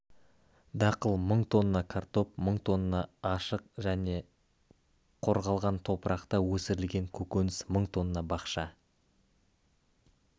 дақыл мың тонна картоп мың тонна ашық және қорғалған топырақта өсірілген көкөніс мың тонна бақша